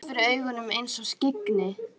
Hendur hans fyrir augunum einsog skyggni.